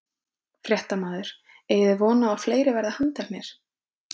Fréttamaður: Eigið þið von á að fleiri verði handteknir?